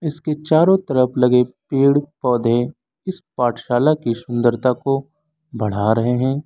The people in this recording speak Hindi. इसके चारों तरफ लगे पेड़ पौधे इस पाठशाला की सुंदरता को बढ़ा रहे हैं।